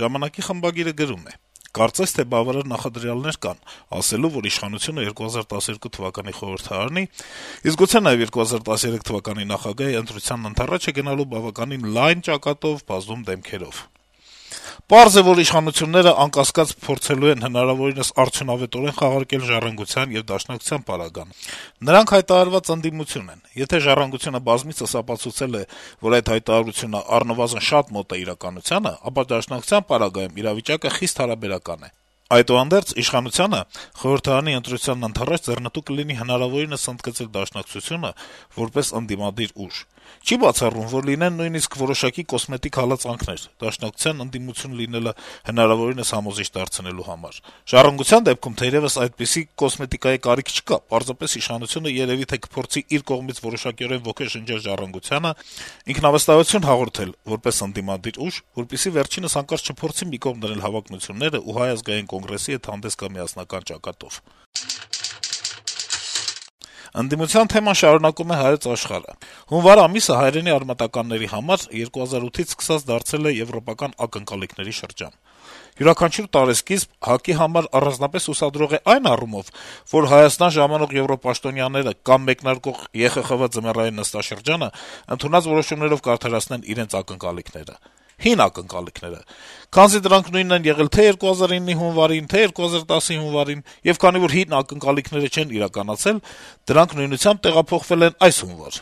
«Ժամանակ»-ի խմբագիրը գրում է. - «Կարծես թե բավարար նախադրյալներ կան` ասելու, որ իշխանությունը 2012 թվականի խորհրդարանի, իսկ գուցե նաև 2013 թվականի նախագահի ընտրությանն ընդառաջ է գնալու բավական լայն ճակատով, բազում դեմքերով: Պարզ է, որ իշխանությունն, անկասկած, փորձելու է հնարավորինս արդյունավետորեն խաղարկել «Ժառանգության» եւ Դաշնակցության պարագան: Նրանք հայտարարված ընդդիմություն են: Եթե «Ժառանգությունը» բազմիցս ապացուցել է, որ այդ հայտարարությունը առնվազն շատ մոտ է իրականությանը, ապա Դաշնակցության պարագայում իրավիճակը խիստ հարաբերական է: Այդուհանդերձ, իշխանությանը խորհրդարանի ընտրությանն ընդառաջ ձեռնտու կլինի հնարավորինս ընդգծել Դաշնակցությանը` որպես ընդդիմադիր ուժ: Չի բացառվում, որ լինեն նույնիսկ որոշակի կոսմետիկ հալածանքներ` Դաշնակցության ընդդիմություն լինելը հնարավորինս համոզիչ դարձնելու համար: «Ժառանգության» դեպքում, թերեւս, այդպիսի կոսմետիկայի կարիք չկա, պարզապես իշխանությունը երեւի թե կփորձի իր կողմից որոշակիորեն ոգեշնչել «Ժառանգությանը», ինքնավստահություն հաղորդել որպես ընդդիմադիր ուժ, որպեսզի վերջինս հանկարծ չփորձի մի կողմ դնել հավակնություններն ու Հայ ազգային կոնգրեսի հետ հանդես գա միասնական ճակատով»: Ընդդիմության թեման շարունակում է «Հայոց Աշխարհ»-ը. - «Հունվար ամիսը հայրենի արմատականների համար 2008-ից սկսած դարձել է «եվրոպական ակնկալիքների» շրջան: Յուրաքանչյուր տարեսկիզբ Հայ ազգային կոնգրեսի համար առանձնապես հուսադրող է այն առումով, որ Հայաստան ժամանող եվրոպաշտոնյաները կամ մեկնարկող Եվրախորհրդի խորհրդարանակն վեհաժողովի ձմեռային նստաշրջանն ընդունած որոշումներով կարդարացնեն իրենց ակնկալիքները: Հին ակնկալիքները: Քանզի դրանք նույնն են եղել թե 2009-ի հունվարին, թե 2010-ի հունվարին: Եվ քանի որ հին ակնկալիքները չեն իրականացել, դրանք նույնությամբ «տեղափոխվել» են այս հունվար: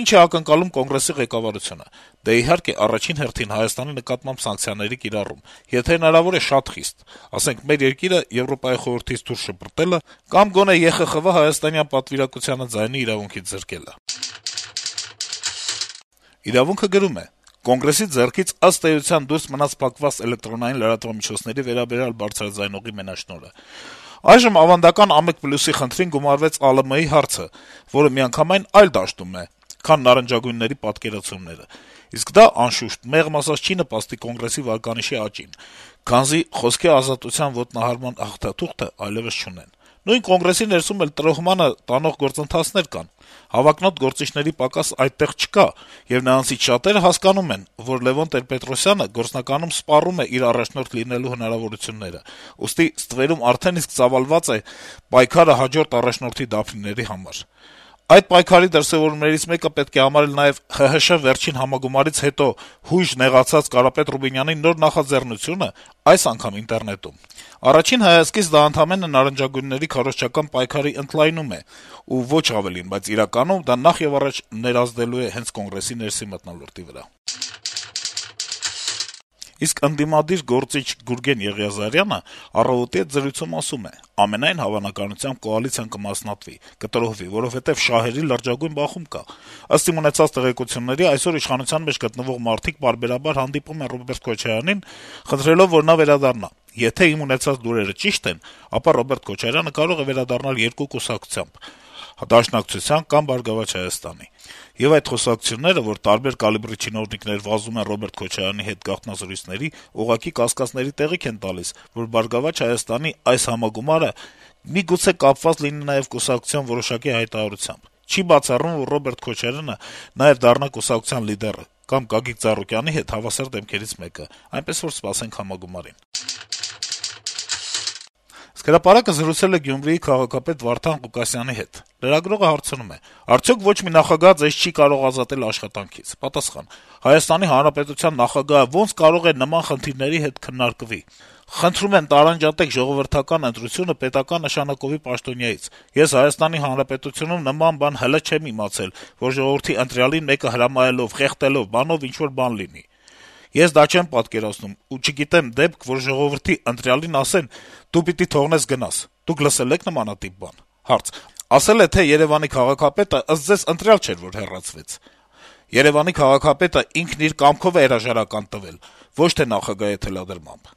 Ի՞նչ է ակնկալում կոնգրեսի ղեկավարությունը Եվրախորհրդից: Դե, իհարկե, առաջին հերթին Հայաստանի նկատմամբ սանկցիաների կիրառում, եթե հնարավոր է շատ խիստ, ասենք, մեր երկիրը ԵԽ-ից դուրս շպրտելը կամ գոնե ԵԽԽՎ հայաստանյան պատվիրակությանը ձայնի իրավունքից զրկելը»: «Իրավունք»-ը գրում է. - ««Կոնգրեսի» ձեռքից, ըստ էության, դուրս մնաց փակված էլեկտրոնային լրատվամիջոցների վերաբերյալ բարձրաձայնողի մենաշնորհը: Այժմ ավանդական «Ա1+»-ի խնդրին գումարվել ԱԼՄ-ի հարցը, որը միանգամայն այլ դաշտում է, քան «նարնջագույնների» պատկերացումները: Իսկ դա, անշուշտ, մեղմ ասած չի նպաստի «Կոնգրեսի» վարկանիշի աճին, քանզի «խոսքի ազատության ոտնահարման» հաղթաթուղթը այլեւս չունեն: Նույն «Կոնգրեսի» ներսում էլ տրոհմանը տանող գործընթացներ կան: Հավակնոտ գործիչների պակաս այդտեղ չկա, եւ նրանցից շատերը հասկանում են, որ Լեւոն Տեր-Պետրոսյանը գործնականում սպառում է իր` առաջնորդ լինելու հնարավորությունները, ուստի ստվերում արդեն իսկ ծավալված է պայքարը հաջորդ առաջնորդի դափնիների համար: Այդ պայքարի դրսեւորումներից մեկը պետք է համարել նաեւ ՀՀՇ-ի վերջին համագումարից հետո հույժ նեղացած Կարապետ Ռուբինյանի նոր նախաձեռնությունը այս անգամ ինտերնետում: Առաջին հայացքից դա ընդամենը «նարնջագույնների» քարոզչական պայքարի ընդլայնում է ու ոչ ավելին: Բայց իրականում դա նախեւառաջ ներազդելու է հենց «Կոնգրեսի» ներսի մթնոլորտի վրա»: Ընդդիմադիր գործիչ Գուրգեն Եղիազարյանը «Առավոտ»-ի հետ զրույցում ասում է. - «Ամենայն հավանականությամբ, կոալիցիան կմասնատվի, կտրոհվի, որովհետեւ շահերի լրջագույն բախում կա: Ըստ իմ ունեցած տեղեկությունների, այսօր իշխանության մեջ գտնվող մարդիկ պարբերաբար հանդիպում են Ռոբերտ Քոչարյանին` խնդրելով, որ նա վերադառնա: Եթե իմ ունեցած լուրերը ճիշտ են, ապա Ռոբերտ Քոչարյանը կարող է վերադառնալ երկու կուսակցությամբ` Դաշնակցություն կամ «Բարգավաճ Հայաստան»: Եվ այդ կուսակցությունները, որ տարբեր կարգի չինովնիկներ վազում են Ռոբերտ Քոչարյանի հետ գաղտնազրույցների, ուղղակի կասկածների տեղիք են տալիս, որ «Բարգավաճ Հայաստան»-ի այս համագումարը միգուցե կապված լինի նաեւ կուսակցության որոշակի հայտարարությամբ: Չի բացառվում, որ Ռոբերտ Քոչարյանը նաեւ դառնա կուսակցության լիդերը կամ Գագիկ Ծառուկյանի հետ հավասար դեմքերից մեկը: Այնպես որ, սպասենք համագումարին…»: «Հրապարակ» թերթը զրուցել է Գյումրիի քաղաքապետ Վարդան Ղուկասյանի հետ: Լրագրողը հարցնում է. - «Արդյո՞ք ոչ մի նախագահ Ձեզ չի՞ կարող ազատել աշխատանքից»: Ղուկասյանը պատասխանում է. -«Հայաստանի Հանրապետության նախագահը ո՞նց կարող է նման խնդիրների հետ քննարկվի: Խնդրում եմ տարանջատեք ժողովրդական ընտրությունը պետական նշանակովի պաշտոնյանից: Իսկ ՀՀ-ում նմանատիպ բան ես հլը չեմ իմացել, որ ժողովրդի ընտրյալին մեկը հրամայականով, խեղդելով-բանով ինչ-որ բան լինի: Ես դա չեմ պատկերացնում եւ չգիտեմ դեպք, որ ժողովրդի ընտրյալին ասեն՝ դու պիտի թողնես, գնաս: Դուք լսե՞լ եք նմանատիպ բան»: Հարց. - «Ասել է թե՝ Երեւանի քաղաքապետը, ըստ Ձեզ, ընտրյալ չէր, որ հեռացվեց»: Պատասխան. - «Երեւանի քաղաքապետը ինքն իր կամքով է հրաժարական տվել, ոչ թե նախագահի թելադրմամբ»: